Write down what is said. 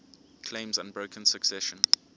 claims unbroken succession